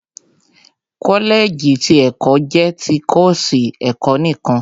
Kọ́lẹ̀ẹ̀jì ti ẹ̀kọ́ jẹ́ ti kọ́ọ̀sì ẹ̀kọ́ nìkan